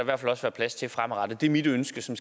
der plads til fremadrettet det er mit ønske som